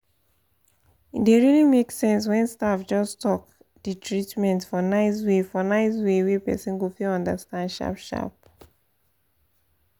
e dey really make sense when staff just talk the treatment for nice way for nice way wey person go fit understand sharp sharp.